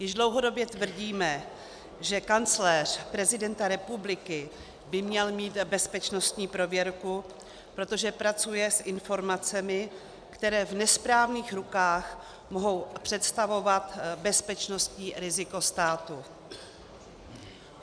Již dlouhodobě tvrdíme, že kancléř prezidenta republiky by měl mít bezpečnostní prověrku, protože pracuje s informacemi, které v nesprávných rukách mohou představovat bezpečnostní riziko státu.